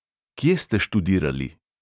Kje ste študirali?